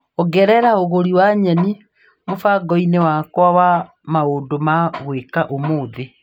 Ongerera ũgũri wa nyeni mũbango-inĩ wakwa wa maũndũ ma gwĩka ũmũthi.